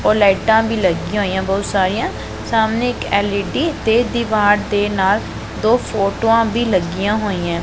ਔਰ ਲਾਈਟਾਂ ਭੀ ਲੱਗੀਆਂ ਹੋਈਐਂ ਬਹੁਤ ਸਾਰੀਆਂ ਸਾਹਮਣੇ ਇੱਕ ਐਲ_ਈ_ਡੀ ਤੇ ਦੀਵਾਰ ਦੇ ਨਾਲ ਦੋ ਫੋਟੋਆਂ ਭੀ ਲੱਗੀਆਂ ਹੋਈਐਂ।